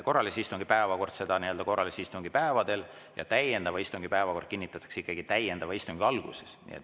Korralise istungi päevakord kinnitatakse korralise istungi päevadel ja täiendava istungi päevakord täiendava istungi alguses.